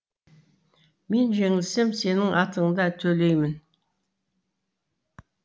мен жеңілсем сенің атыңды төлеймін